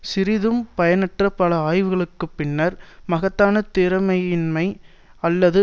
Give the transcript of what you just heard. சிறிதும் பயனற்ற பல ஆய்வுகளுக்கு பின்னர் மகத்தான திறமையின்மை அல்லது